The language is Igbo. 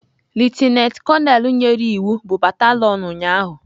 Lieutenant konel nyere iwu bụ batalion ụnyahụ.